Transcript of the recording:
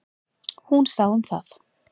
Hún sá um það.